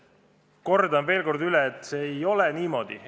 Kordan veel kord, et see ei ole niimoodi.